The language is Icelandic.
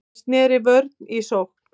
Hann sneri vörn í sókn.